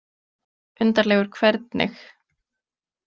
Undarlegur hvernig?